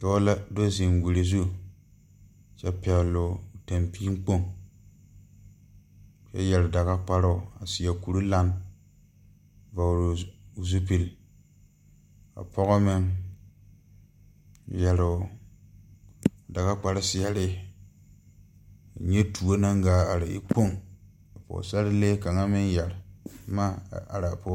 Dɔɔ la do zeŋ wiri zu kyɛ pɛgloo tampii Kpoŋ kyɛ yɛre daga kparoŋ a seɛ kurelan vɔgloo zupil ka pɔgɔ meŋ yɛroo dagakpare seɛɛre nyɛ tuo naŋ gaa are e kpoŋ ka pɔɔsarelee kaŋa meŋ yɛre bomma a araa o.